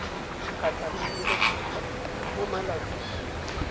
kgatlhanong le lekgotlha mo malatsing